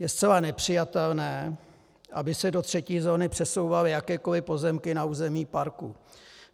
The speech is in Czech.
Je zcela nepřijatelné, aby se do třetí zóny přesouvaly jakékoliv pozemky na území parku.